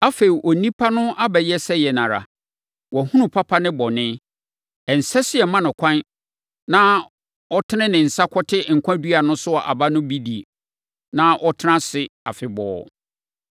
Awurade Onyankopɔn kaa sɛ, “Afei, onipa no abɛyɛ sɛ yɛn ara a, wahunu papa ne bɔne. Ɛnsɛ sɛ yɛma no ɛkwan na ɔtene ne nsa kɔte nkwa dua no so aba no bi die, na ɔtena ase afebɔɔ.”